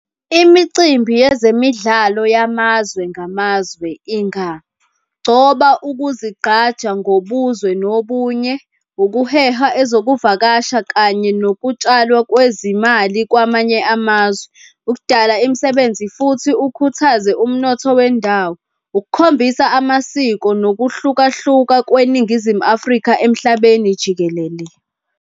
Imicimbi yezemidlalo yamazwe ngamazwe ingagcoba ukuzigqaja ngobuzwe nobunye, ukuheha ezokuvakasha kanye nokutshalwa kwezimali kwamanye amazwe, ukudala imisebenzi futhi ukhuthaze umnotho wendawo, ukukhombisa amasiko nokuhlukahluka kweNingizimu Afrika emhlabeni jikelele.